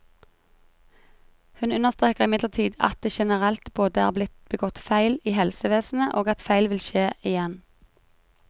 Hun understreker imidlertid at det generelt både er blitt begått feil i helsevesenet, og at feil vil skje igjen.